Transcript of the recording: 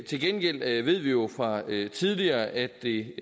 til gengæld ved vi jo fra tidligere at det